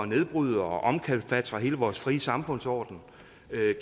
nedbryde og omkalfatre hele vores frie samfundsorden